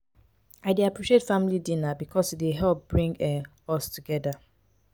i dey appreciate family dinner because e dey help bring um us closer together.